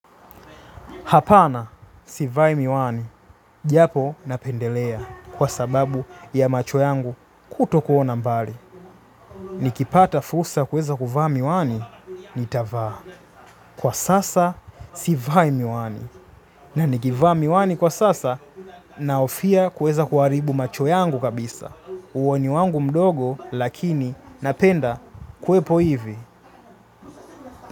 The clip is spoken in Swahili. Hapana, sivai miwani. Japo napendelea kwa sababu ya macho yangu kuto kuona mbali. Nikipata fursa kuweza kuvaa miwani, nitavaa. Kwa sasa, sivai miwani. Na nikivaa miwani kwa sasa, nahofia kuweza kuharibu macho yangu kabisa. Uoni wangu mdogo, lakini napenda kuwepo hivi.